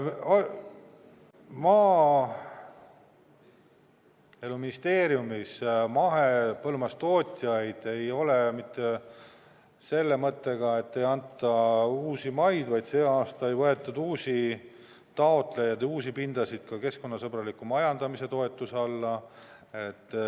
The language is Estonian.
Maaeluministeeriumis ei ole mahepõllumajandustootjaid mitte selle mõttega, et neile ei anta uusi maid, vaid see aasta ei võetud uusi taotlejad, uusi pindasid ka keskkonnasõbraliku majandamise toetuse alla.